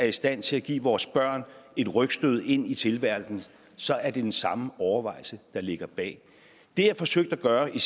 i stand til at give vores børn et rygstød ind i tilværelsen så er det den samme overvejelse der ligger bag det jeg forsøgte at gøre i den